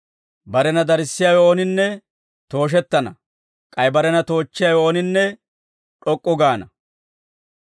Barena darissiyaawe ooninne tooshettana; k'ay barena toochchiyaawe ooninne d'ok'k'u gaana.